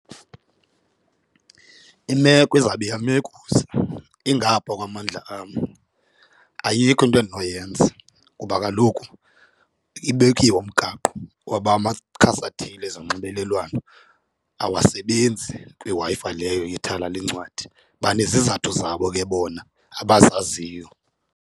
Imeko izawube iyamekuza ingapha kwamandla am ayikho into endinoyenza kuba kaloku ibekiwe umgaqo woba amakhasi athile ezonxibelelwano awasebenzi kwiWi-Fi leyo yethala lencwadi banezizathu zabo ke bona abazaziyo.